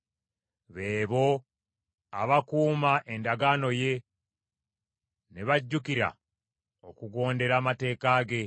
Be bo abakuuma endagaano ye ne bajjukira okugondera amateeka ge.